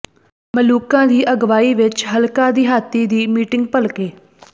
ਮਲੂਕਾ ਦੀ ਅਗਵਾਈ ਵਿੱਚ ਹਲਕਾ ਦਿਹਾਤੀ ਦੀ ਮੀਟਿੰਗ ਭਲਕੇ